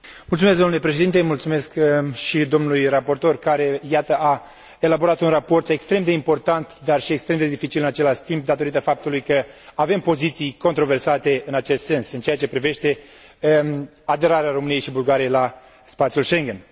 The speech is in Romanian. Mulțumesc dlui raportor care, iată, a elaborat un raport extrem de important, dar și extrem de dificil în același timp, datorită faptului că avem poziții controversate în acest sens, în ceea ce privește aderarea României și Bulgariei la spațiul Schengen.